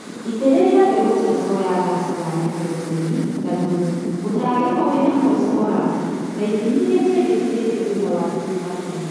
itĩrĩlia mbegũ cia soya gasi ya nitrogeni na thũmũ, mũtararĩko wĩna phosphorasi na ithimi iria cindekithĩtio thutha wa gũthima tĩri